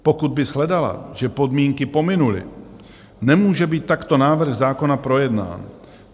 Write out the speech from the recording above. Pokud by shledala, že podmínky pominuly, nemůže být takto návrh zákona projednán.